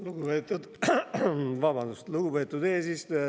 Lugupeetud eesistuja!